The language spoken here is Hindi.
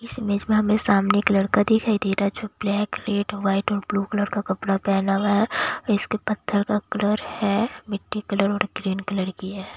इस इमेज हमें सामने एक लड़का दिखाई दे रहा है जो ब्लैक रेड व्हाइट और ब्लू कलर का कपड़ा पहना हुआ हैं इसके पत्थर का कलर है मिट्टी कलर और ग्रीन कलर की हैं।